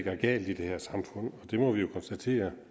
er galt i det her samfund og det må vi jo konstatere